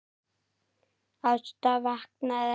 Ásta vaknaði ekki.